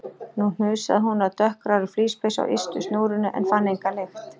Nú hnusaði hún af dökkgrárri flíspeysu á ystu snúrunni en fann enga lykt.